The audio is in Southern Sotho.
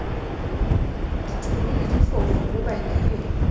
ditholo le difofu ho bakileng